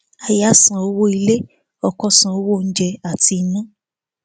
aya san owó ilé ọkọ san owó oúnjẹ àti iná